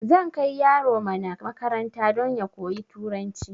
Zan kai yaro mana makaranta don ya koyi turanci